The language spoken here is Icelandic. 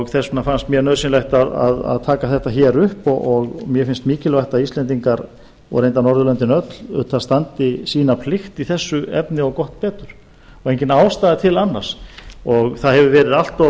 þess vegna finnst mér nauðsynlegt að taka málið upp og mikilvægt að íslendingar og reyndar norðurlöndin öll standi sína plikt í þessu efni og gott betur allt